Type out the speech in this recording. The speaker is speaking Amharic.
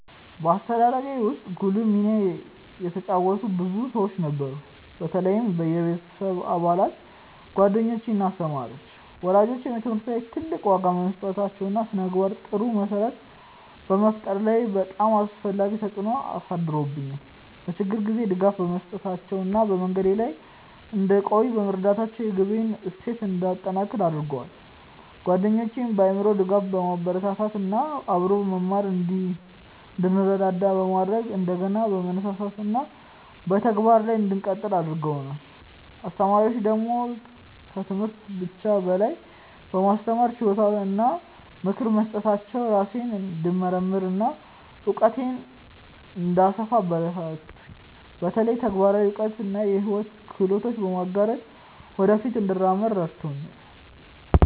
በአስተዳደጌ ውስጥ ጉልህ ሚና የተጫወቱ ብዙ ሰዎች ነበሩ፣ በተለይም የቤተሰብ አባላት፣ ጓደኞች እና አስተማሪዎች። ወላጆቼ በትምህርት ላይ ትልቅ ዋጋ በመስጠታቸው እና በስነ-ምግባር ጥሩ መሰረት በመፍጠር ላይ በጣም አስፈላጊ ተጽዕኖ አሳድረውብኛል፤ በችግር ጊዜም ድጋፍ በመስጠታቸው እና በመንገዴ ላይ እንድቆይ በመርዳታቸው የግቤን እሴት እንዲጠነክር አድርገዋል። ጓደኞቼም በአእምሮ ድጋፍ፣ በማበረታታት እና በአብሮ መማር እንድንረዳዳ በማድረግ እንደገና ለመነሳሳት እና በተግባር ላይ እንድቀጥል አግርገደዋል። አስተማሪዎቼ ደግሞ ከትምህርት ብቻ በላይ በማስተማር ችሎታቸው እና በምክር በመስጠታቸው ራሴን እንድመርምር እና እውቀቴን እንድሰፋ አበረታቱኝ፤ በተለይ ተግባራዊ እውቀት እና የሕይወት ክህሎቶችን በመጋራት ወደ ፊት እንድመራ ረድተውኛል።